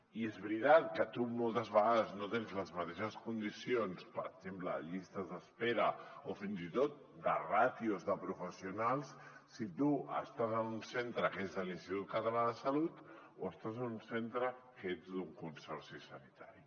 i és veritat que tu moltes vegades no tens les mateixes condicions per exemple a llistes d’espera o fins i tot de ràtios de professionals si tu estàs en un centre que és de l’institut català de la salut o estàs en un centre que ets d’un consorci sanitari